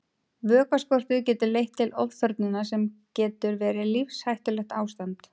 Vökvaskortur getur leitt til ofþornunar sem getur verið lífshættulegt ástand.